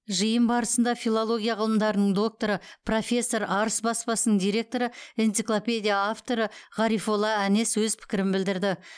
жиын барысында филология ғылымдарының докторы профессор арыс баспасының директоры энциклопедия авторы ғарифолла әнес өз пікірін білдірді